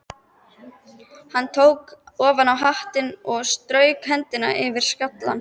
Hann tók ofan hattinn og strauk hendinni yfir skallann.